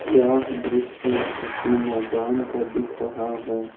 यह दृश्य किसी मैदान का दिख रहा है।